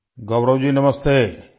گورو ji نمستے!